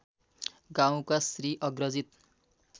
गाउँका श्री अग्रजित